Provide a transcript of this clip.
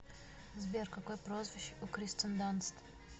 сбер какое прозвище у кристен данст